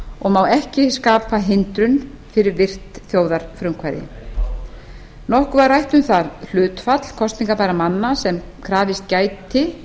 og má ekki skapa hindrun fyrir virkt þjóðarfrumkvæði nokkuð var rætt um það hlutfall kosningarbærra manna sem krafist gæti